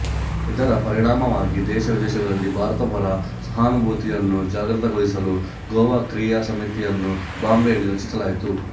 ಇದರ ಪರಿಣಾಮವಾಗಿ ದೇಶ ವಿದೇಶಗಳಲ್ಲಿ ಭಾರತ ಪರ ಸಹಾನುಭೂತಿಯನ್ನು ಜಾಗೃತಗೊಳಿಸಲು ಗೋವಾ ಕ್ರಿಯಾ ಸಮಿತಿಯನ್ನು ಬಾಂಬೆಯಲ್ಲಿ ರಚಿಸಲಾಯಿತು